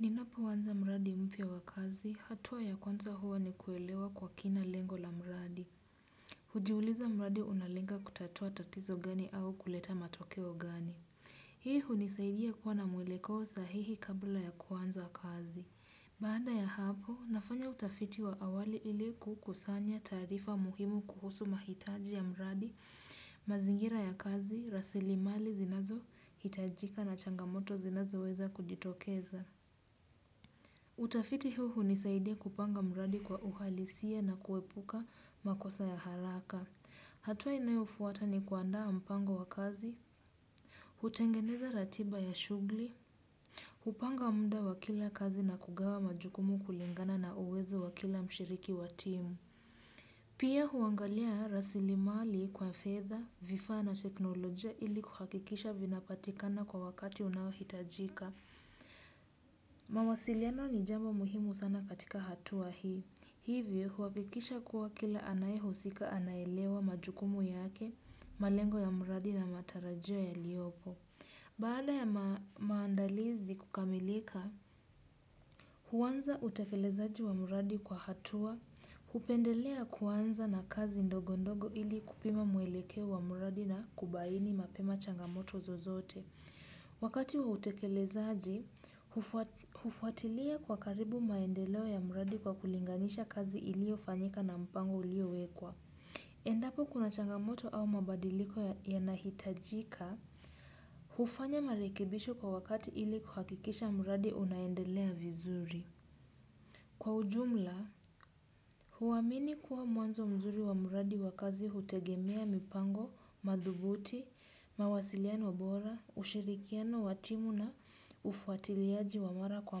Ninapoanza mradi mpya wa kazi, hatua ya kwanza huwa ni kuelewa kwa kina lengo la mradi. Hujiuliza mradi unalenga kutatua tatizo gani au kuleta matokeo gani. Hii hunisaidia kuwa na mwelekeo sahihi kabla ya kuanza kazi. Baada ya hapo, nafanya utafiti wa awali ili kukusanya taarifa muhimu kuhusu mahitaji ya mradi, mazingira ya kazi, rasilimali zinazohitajika na changamoto zinazoweza kujitokeza. Utafiti huu hunisaidia kupanga mradi kwa uhalisia na kuepuka makosa ya haraka. Hatua inayofuata ni kuandaa mpango wa kazi. Hutengeneza ratiba ya shughuli. Hupanga muda wa kila kazi na kugawa majukumu kulingana na uwezo wa kila mshiriki wa team. Pia huangalia rasilimali kwa fedha, vifaa na teknolojia ili kuhakikisha vinapatikana kwa wakati unaohitajika. Mawasiliano ni jambo muhimu sana katika hatua hii. Hivyo huhakikisha kuwa kila anayehusika anaelewa majukumu yake malengo ya mradi na matarajio yaliopo. Baada ya maandalizi kukamilika huanza utekelezaji wa mradi kwa hatua. Hupendelea kuanza na kazi ndogo ndogo ili kupima mwelekeo wa mradi na kubaini mapema changamoto zozote. Wakati wa utekelezaji, hufuatilia kwa karibu maendeleo ya mradi kwa kulinganisha kazi iliofanyika na mpango uliowekwa. Endapo kuna changamoto au mabadiliko yanahitajika, hufanya marekebisho kwa wakati ili kuhakikisha mradi unaendelea vizuri. Kwa ujumla, huamini kuwa mwanzo mzuri wa mradi wa kazi hutegemea mipango, madhubuti, mawasiliano bora, ushirikiano wa timu na ufuatiliaji wa mara kwa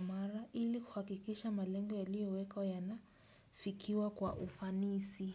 mara ili kuhakikisha malengo yaliyowekwa yanafikiwa kwa ufanisi.